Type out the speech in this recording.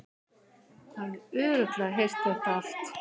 Hafði örugglega heyrt þetta allt.